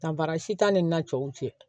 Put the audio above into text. Danfara si t'an ni na cɛw cɛ